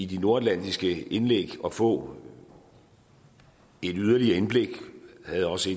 de nordatlantiske indlæg at få et yderligere indblik jeg havde også